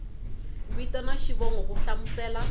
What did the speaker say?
vito na xivongo ku hlamusela